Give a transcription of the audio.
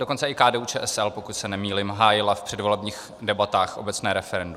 Dokonce i KDU-ČSL, pokud se nemýlím, hájila v předvolebních debatách obecné referendum.